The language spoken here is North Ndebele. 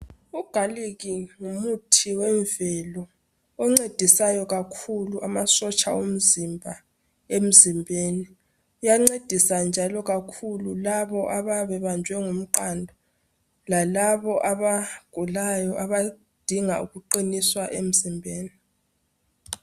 Ugalikhi ngumuthi wemvelo oncedisayo kakhulu amasotsha omzimba emzimbeni uyancedisa njalo kakhulu labo abayabebanjwe ngumqando lalabo abagulayo abadinga ukuqiniswa emzimbeni.